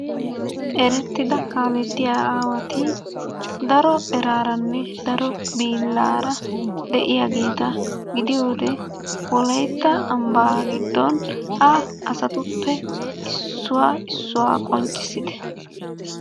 Erettida kaalettiya aawati daro eraaranne daro bollaara de'iyageeta gidiyode wolayitta ambbaa giddon ha asatuppe issuwa issuwa qonccissite.